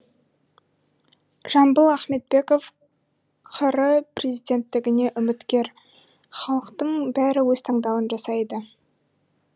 жамбыл ахметбеков қр президенттігіне үміткер халықтың бәрі өз таңдауын жасайды